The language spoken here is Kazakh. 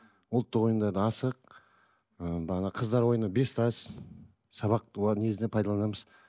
ұлттық ойындарды асық ы бағана қыздар ойыны бес тас сабақ негізінде пайдаланамыз